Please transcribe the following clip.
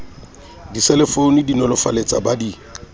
diselefounu di nolofaletsa ba di